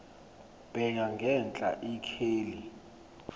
bheka ngenhla ikheli